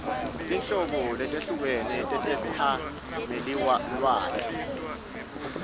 tinhlobo letehlukene tetetsamelilwati